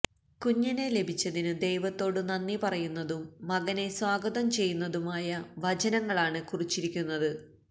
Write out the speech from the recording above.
കുഞ്ഞിനെ ലഭിച്ചതിനു ദൈവത്തോടു നന്ദി പറയുന്നതും മകനെ സ്വാഗതം ചെയ്യുന്നതുമായ വചനങ്ങളാണ് കുറിച്ചിരിക്കുന്നത്